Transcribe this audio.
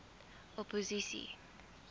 opposisie